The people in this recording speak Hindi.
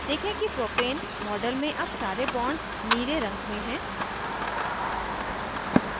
देखें कि propane model में अब सारे bonds नीले रंग में हैं